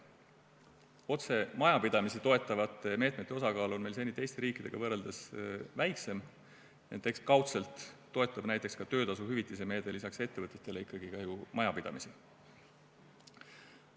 Otse majapidamisi toetavate meetmete osakaal on meil seni teiste riikidega võrreldes väiksem, ent eks kaudselt toetab näiteks ka töötasuhüvitise meede lisaks ettevõtetele ikkagi ju majapidamisi.